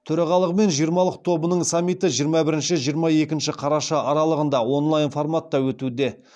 төрағалығымен жиырмалық тобының саммиті жиырма бірінші жиырма екінші қараша аралығында онлайн форматта өтуде